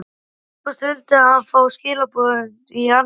Tæpast vildi hann fá skilaboðin í annað sinn.